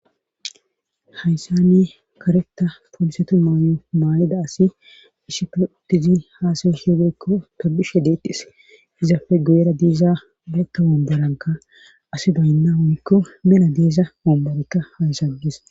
Hayssane kareta polsetu maay'o maayida asi ishife udtizi haasawi heodeykko tobishe deettes izafe go'era diiza beekka bomboranga asi baynna hunikko mena. deeza momborikka haysaggis